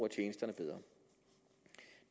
af tjenesterne bedre